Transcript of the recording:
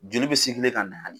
Joli bɛ ka na.